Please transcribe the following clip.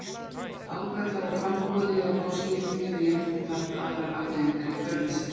Ágallar á framboði eða kosningum geta jafnframt haft aðrar afleiðingar í för með sér.